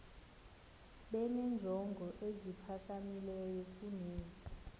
benenjongo eziphakamileyo kunezi